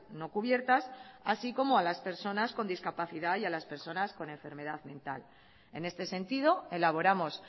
no cubiertas así como a las personas con discapacidad y a las personas con enfermedad mental en este sentido elaboramos